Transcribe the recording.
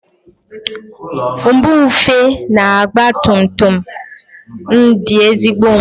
Nbufe na ọgba tum tum m dị ezigbo mma.